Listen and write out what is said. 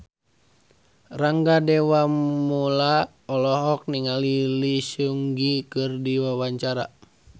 Rangga Dewamoela olohok ningali Lee Seung Gi keur diwawancara